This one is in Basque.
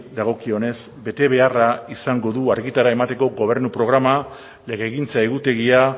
dagokionez betebeharra izango du argitara emateko gobernu programa legegintza egutegia